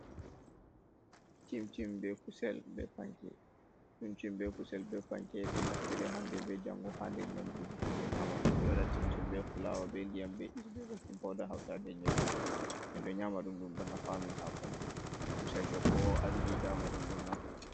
Chim-chim be kusel be panke, chim-chim be kusel be panke ɗon naftire hande be jango ha nder nyamduuji himɓe nyaamata. Ɓe ɗo waɗa chim-chim be fulawa, be ndiyam, be is, be bekin pouda, hautaade e nyebbam. Min ɗo nyaama ɗum, ɗum ɗo nafa amin ha ɓandu, kusel bo kowa andi daa ma ɗum ɗo nafa.